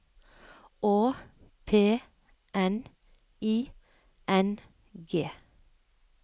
Å P N I N G